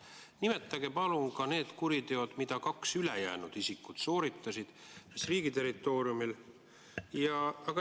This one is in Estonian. Nimetage palun ka need kuriteod, mida ülejäänud kaks isikut sooritasid ja mis riigi territooriumil.